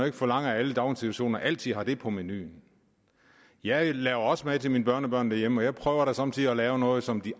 ikke forlange at alle daginstitutioner altid har det på menuen jeg laver også mad til min børnebørn derhjemme og jeg prøver da somme tider at lave noget som de